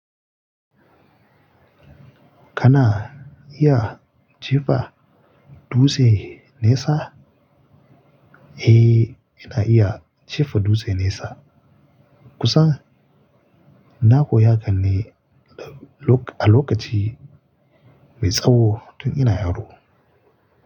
Kana iya jefa dutse nesa? Eh, ina iya jefa dutse nesa. Kusa. Na koya hakan ne a lokaci mai tsawo tun ina yaro.